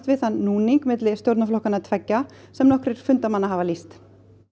við þann núning milli stjórnarflokkanna sem nokkrir fundarmenn hafa lýst